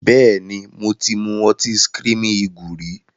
Bẹ́ẹ̀ni, mo ti mu ọtí screaming eagle rí.